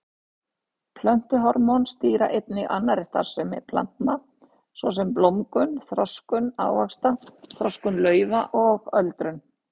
Plöntuhormón stýra einnig annarri starfsemi plantna svo sem blómgun, þroskun ávaxta, þroskun laufa og öldrun.